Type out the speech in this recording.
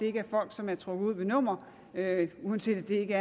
er folk som er trukket ud ved et nummer uanset at det ikke